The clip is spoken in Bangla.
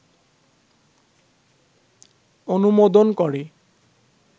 অনুমোদন করে